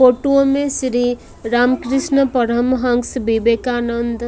photo में Shri Ramakrishna Paramahamsa Vivekananda--